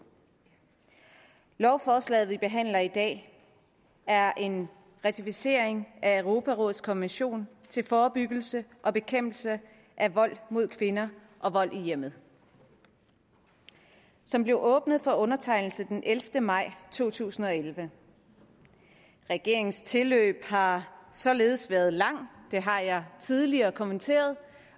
lovforslaget vi behandler i dag er en ratificering af europarådets konvention til forebyggelse og bekæmpelse af vold mod kvinder og vold i hjemmet som blev åbnet for undertegnelse den ellevte maj to tusind og elleve regeringens tilløb har således været langt det har jeg tidligere kommenteret